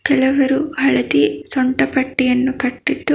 ಕೆಲವರು ಹಳದಿ ಸೊಂಟ ಪಟ್ಟಿಯನ್ನು ಕಟ್ಟಿದ್ದು--